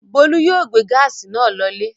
Bólú yóò gbé gáásì náà lọlé.